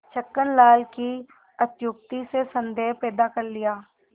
छक्कन लाल की अत्युक्ति से संदेह पैदा कर लिया